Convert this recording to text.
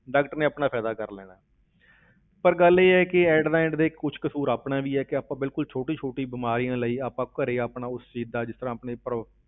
Doctor ਨੇ ਆਪਣਾ ਫ਼ਾਇਦਾ ਕਰ ਲੈਣਾ ਹੈ ਪਰ ਗੱਲ ਇਹ ਹੈ ਕਿ at the end ਦੇਖ ਕੁਛ ਕਸ਼ੂਰ ਆਪਣਾ ਵੀ ਹੈ ਕਿ ਆਪਾਂ ਬਿਲਕੁਲ ਛੋਟੀ ਛੋਟੀ ਬਿਮਾਰੀਆਂ ਲਈ, ਆਪਾਂ ਘਰੇ ਆਪਣੇ ਉਸ ਚੀਜ਼ ਦਾ ਜਿਸ ਤਰ੍ਹਾਂ ਆਪਣੇ ਪਰਿ~